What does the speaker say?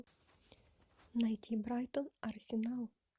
найти брайтон арсенал